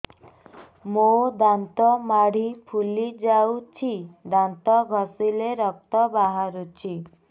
ମୋ ଦାନ୍ତ ମାଢି ଫୁଲି ଯାଉଛି ଦାନ୍ତ ଘଷିଲେ ରକ୍ତ ବାହାରୁଛି